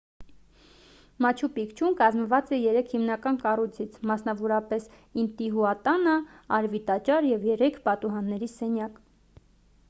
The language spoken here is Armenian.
մաչու պիկչուն կազմված է երեք հիմնական կառույցից մասնավորապես ինտիհուատանա արևի տաճար և երեք պատուհանների սենյակ